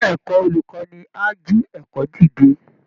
Ilé ẹ̀kọ́ olùkọ́ni á jí ẹ̀kọ́ dìde